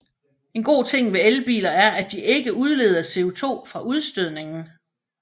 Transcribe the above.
En god ting ved elbiler er at de ikke udleder CO2 fra udstødningen